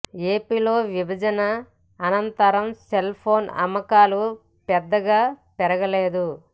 ఏపీలో విభజన అనంతరం సెల్ ఫోన్ అమ్మకాలు పెద్దగా పెరగలేదు